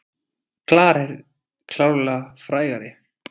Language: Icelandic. Klara er klárlega frægari.